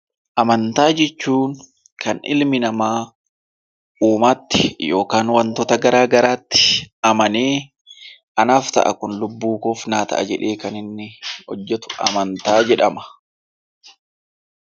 Amantaa jechuun kan ilmi namaa uumaatti yookaan waantota garaa garaatti amanee, anaaf ta'a kun lubbuu koof naa ta'a jedhee kan inni hojjetu amantaa jedhama.